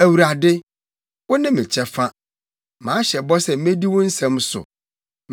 Awurade, wo ne me kyɛfa; mahyɛ bɔ sɛ medi wo nsɛm so.